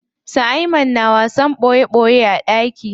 Su Ayman na wasan ɓoye ɓoye a ɗaki.